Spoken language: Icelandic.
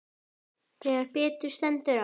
Þegar betur stendur á.